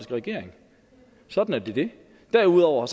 regering sådan er det derudover